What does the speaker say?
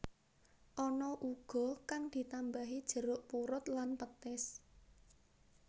Ana uga kang ditambahi jeruk purut lan petis